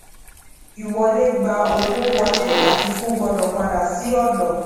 ìwọlé gba owó wọlé àfikún gbọdọ padà sí òdo